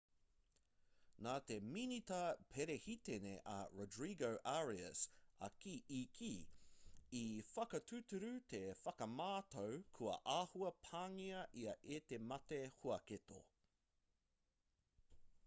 nā te minita perehitene a rodrigo arias i kī i whakatūturu te whakamātau kua āhua pāngia ia e te mate huaketo